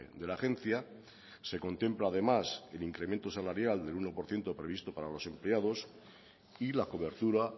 de la agencia se contempla además el incremento salarial del uno por ciento previsto para los empleados y la cobertura